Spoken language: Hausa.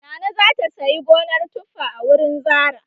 Nana za ta sayi gonar tuffa a wurin Zarah.